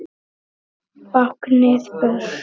Báknið burt?